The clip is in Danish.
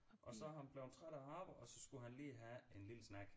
Og så er han blevet træt af at arbejde og så skulle han lige have en lille snack